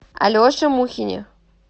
алеше мухине